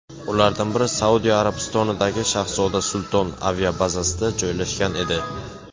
Ulardan biri Saudiya Arabistonidagi shahzoda Sulton aviabazasida joylashgan edi.